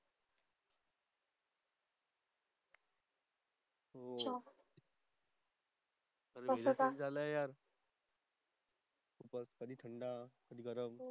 हो weather change झाल यार कधी थंड कडी गरम